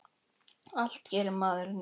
Allt gerir maður í neyð.